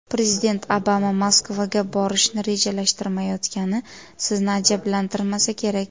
Prezident Obama Moskvaga borishni rejalashtirmayotgani sizni ajablantirmasa kerak.